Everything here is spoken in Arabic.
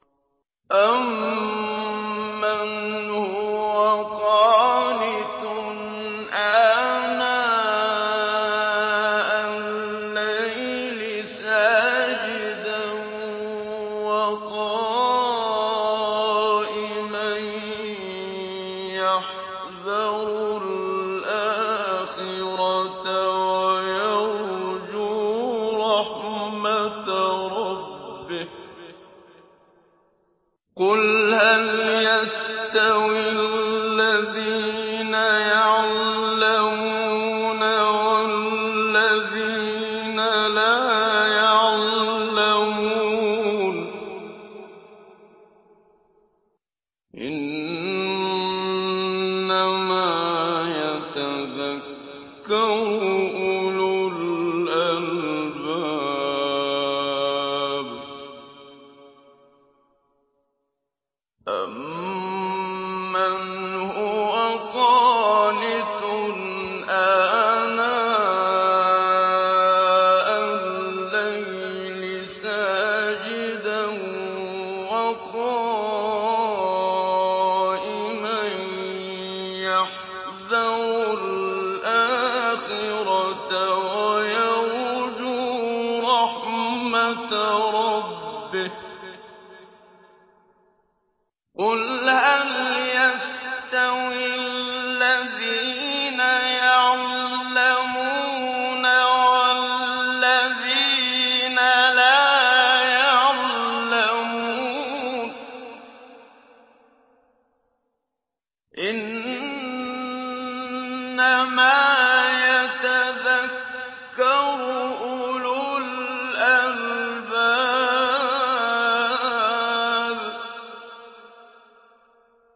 أَمَّنْ هُوَ قَانِتٌ آنَاءَ اللَّيْلِ سَاجِدًا وَقَائِمًا يَحْذَرُ الْآخِرَةَ وَيَرْجُو رَحْمَةَ رَبِّهِ ۗ قُلْ هَلْ يَسْتَوِي الَّذِينَ يَعْلَمُونَ وَالَّذِينَ لَا يَعْلَمُونَ ۗ إِنَّمَا يَتَذَكَّرُ أُولُو الْأَلْبَابِ